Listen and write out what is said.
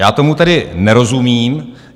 Já tomu tedy nerozumím.